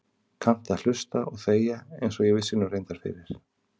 Kannt að hlusta og þegja einsog ég vissi nú reyndar fyrir.